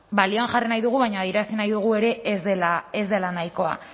balioan jarri nahi dugu baina adierazi nahi dugu ere ez dela nahikoa